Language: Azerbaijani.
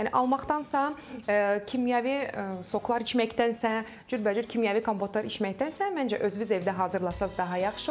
Yəni almaqdansa, kimyəvi soklar içməkdənsə, cürbəcür kimyəvi kompotlar içməkdənsə, məncə özünüz evdə hazırlasanız daha yaxşı olar.